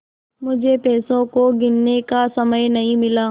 मुझे पैसों को गिनने का समय नहीं मिला